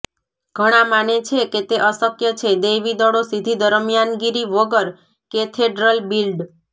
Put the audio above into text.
ઘણા માને છે કે તે અશક્ય છે દૈવી દળો સીધી દરમિયાનગીરી વગર કેથેડ્રલ બિલ્ડ